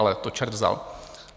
Ale to čert vzal.